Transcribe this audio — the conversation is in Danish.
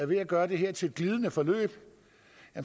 ved at gøre det her til et glidende forløb